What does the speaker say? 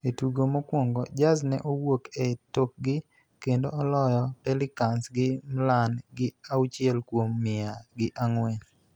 E tugo mokwongo, Jazz ne owuok e tokgi kendo oloyo Pelicans gi mian gi auchiel kuom mia gi ang'wen